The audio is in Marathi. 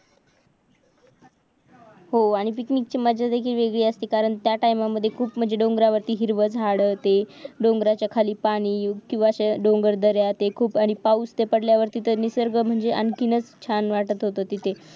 हो आणि पिकनीची मज्जा देखील वेगळी असते कारण त्या टाइममधें खूप म्हणजे डोंगरावती हिरवी झाड असते आणि डोंगरच्या खाली पाणी किव्हा डोगर दर्या ते खूप आणि पाऊस त पडल्यावरती तर ते निसर्ग आणखीनच छान वाटत होत तिथे